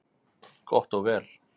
Gott og vel,